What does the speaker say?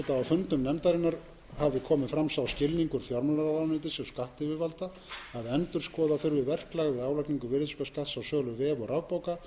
fundum nefndarinnar hafi komið fram sá skilningur fjármálaráðuneytis og skattyfirvalda að endurskoða þurfi verklag við álagningu virðisaukaskatts á sölu vef og rafbóka